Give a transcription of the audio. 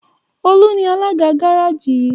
Olu ní Alága Gáréèjì yi.